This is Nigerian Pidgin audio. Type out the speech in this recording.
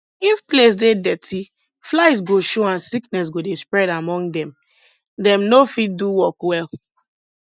if place dey dirty flies go show and sickness go dey spread among them dem no fit do work well